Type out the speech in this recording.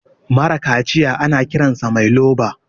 mara kaciya ana Kiransa Mai loba